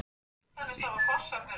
Tökum annað dæmi: Hvað með orðið ganga?